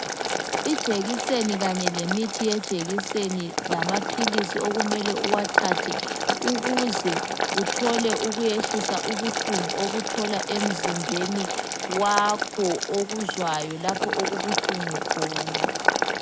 Ijekiseni kanye lemithi yejekiseni lamaphilisi okumele uwathathe ukuze uthole ukuyehlisa ubuhlungu obuthola emzimbeni wakho okuzwayo lapho okubuhlungu khona.